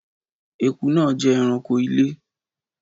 ẹkú naa jẹ ẹranko ilé